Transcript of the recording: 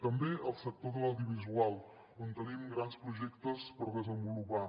també al sector de l’audiovisual on tenim grans projectes per desenvolupar